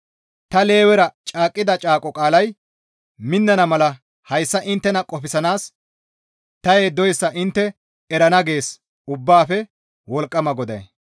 Ta Lewera caaqqida caaqo qaalay minnana mala hayssa inttena qofsanaas ta yeddoyssa intte erana» gees Ubbaafe Wolqqama GODAY.